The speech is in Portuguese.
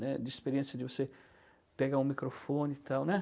né. De experiência de você pegar um microfone e tal, né?